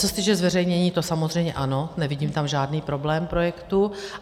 Co se týče zveřejnění, to samozřejmě ano, nevidím tam žádný problém projektu.